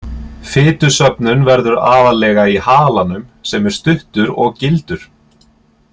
Fitusöfnun verður aðallega í halanum sem er stuttur og gildur.